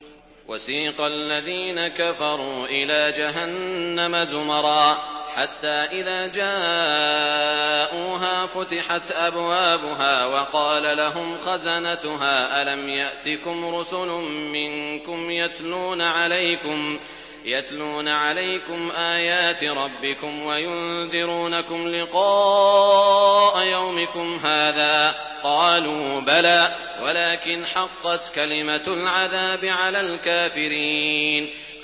وَسِيقَ الَّذِينَ كَفَرُوا إِلَىٰ جَهَنَّمَ زُمَرًا ۖ حَتَّىٰ إِذَا جَاءُوهَا فُتِحَتْ أَبْوَابُهَا وَقَالَ لَهُمْ خَزَنَتُهَا أَلَمْ يَأْتِكُمْ رُسُلٌ مِّنكُمْ يَتْلُونَ عَلَيْكُمْ آيَاتِ رَبِّكُمْ وَيُنذِرُونَكُمْ لِقَاءَ يَوْمِكُمْ هَٰذَا ۚ قَالُوا بَلَىٰ وَلَٰكِنْ حَقَّتْ كَلِمَةُ الْعَذَابِ عَلَى الْكَافِرِينَ